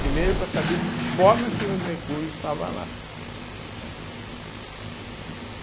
Primeiro para saber de que forma que o mercúrio estava lá, né. eh